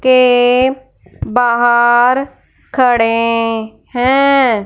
के बाहर खड़े हैं।